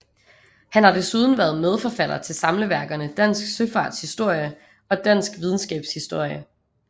Han har desuden været medforfatter til samleværkerne Dansk Søfarts Historie og Dansk Videnskabs Historie